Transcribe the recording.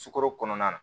Sukaro kɔnɔna na